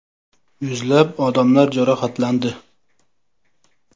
Yuzlab odamlar jarohatlandi.